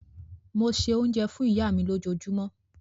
Mo se oúnjẹ fún ìyá mi lójúmọ́.